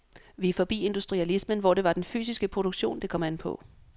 Vi er forbi industrialismen, hvor det var den fysiske produktion, det kom an på.